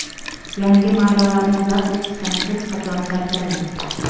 yangi marralarni zabt etishdan hech qachon charchamang!.